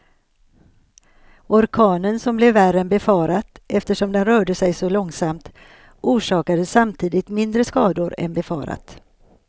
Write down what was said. Orkanen som blev värre än befarat eftersom den rörde sig så långsamt, orsakade samtidigt mindre skador än befarat.